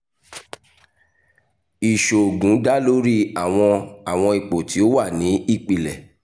iṣoogun da lori awọn awọn ipo ti o wa ni ipilẹ